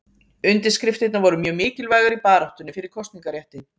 Undirskriftirnar voru mjög mikilvægar í baráttunni fyrir kosningarétti.